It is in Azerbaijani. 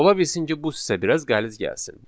Ola bilsin ki, bu sizə biraz qəliz gəlsin.